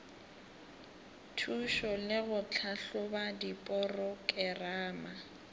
thušo le go tlhahloba diporokerama